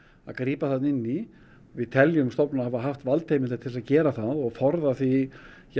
að grípa þarna inn í við teljum stofnunina hafa haft valdheimildir til að gera það og forða því